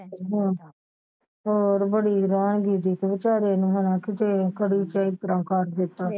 ਹਾਂ ਹੋਰ ਬੜੀ ਹੈਰਾਨਗੀ ਸੀ ਵਿਚਾਰੇ ਨੂੰ ਹੈਨਾ ਕੀਤੇ ਕਦੀ ਕਰ ਦਿੱਤਾ।